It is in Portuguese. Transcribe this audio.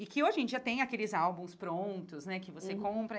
e que hoje em dia tem aqueles álbuns prontos, né, que você compra.